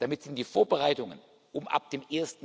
Damit sind die Vorbereitungen, um ab dem